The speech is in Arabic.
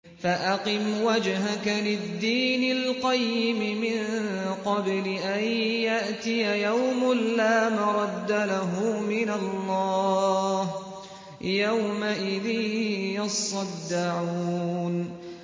فَأَقِمْ وَجْهَكَ لِلدِّينِ الْقَيِّمِ مِن قَبْلِ أَن يَأْتِيَ يَوْمٌ لَّا مَرَدَّ لَهُ مِنَ اللَّهِ ۖ يَوْمَئِذٍ يَصَّدَّعُونَ